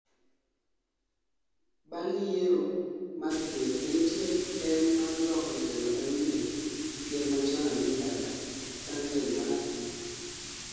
bang' yiero mar ker nenitie tem mar loko telo manyien gi ker machon Amin dada bang' rem mare